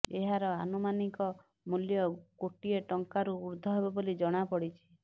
ଏହାର ଆନୁମାନିକ ମୂଲ୍ୟ କୋଟିଏ ଟଙ୍କାରୁ ଊର୍ଦ୍ଧ୍ୱ ହେବ ବୋଲି ଜଣାପଡ଼ିଛି